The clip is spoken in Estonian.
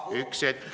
Üks hetk.